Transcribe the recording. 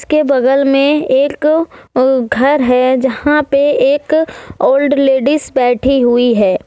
के बगल में एक अह घर है यहां पे एक ओल्ड लेडीज बैठी हुई है।